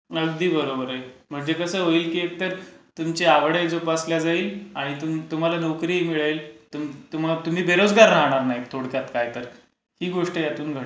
अगदी बरोबर आहे. म्हणजे कसं होईल की तुमची आवड ही जोपासली जाईल आणि तुम्हाला नोकरीही मिळेल. तुम्ही बेरोजगार राहणार नाहीत. थोडक्यात काय तर ही गोष्ट यातून घडेल.